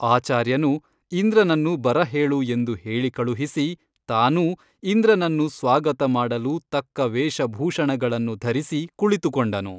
ಆಚಾರ್ಯನು ಇಂದ್ರನನ್ನು ಬರಹೇಳು ಎಂದು ಹೇಳಿಕಳುಹಿಸಿ ತಾನೂ ಇಂದ್ರನನ್ನು ಸ್ವಾಗತ ಮಡಲು ತಕ್ಕ ವೇಷಭೂಷಣಗಳನ್ನು ಧರಿಸಿ ಕುಳಿತುಕೊಂಡನು.